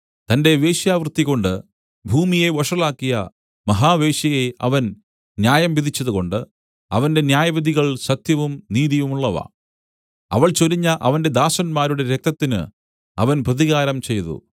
തന്റെ വേശ്യാവൃത്തികൊണ്ട് ഭൂമിയെ വഷളാക്കിയ മഹാവേശ്യയെ അവൻ ന്യായം വിധിച്ചതുകൊണ്ട് അവന്റെ ന്യായവിധികൾ സത്യവും നീതിയുമുള്ളവ അവൾ ചൊരിഞ്ഞ അവന്റെ ദാസന്മാരുടെ രക്തത്തിന് അവൻ പ്രതികാരം ചെയ്തു